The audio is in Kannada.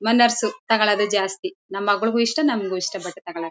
ಮನಸ್ಸು ತೊಗಲದೆ ಜಾಸ್ತಿ ನಮ್ ಮಗಳ್ಗೂ ಇಷ್ಟ ನಂಗು ಇಷ್ಟ ಬಟ್ಟೆ ತಗಳಕ್ಕೆ.